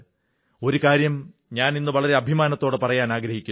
ഒരു കാര്യം ഞാനിന്ന് വളരെ അഭിമാനത്തോടെ പറയാനാഗ്രഹിക്കുന്നു